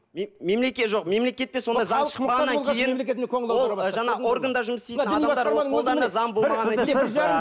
жоқ мемлекетте сондай заң шықпағаннан кейін ол жаңағы сол органда жұмыс істейтін